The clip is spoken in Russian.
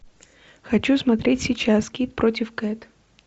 хочу смотреть сейчас кит против кэт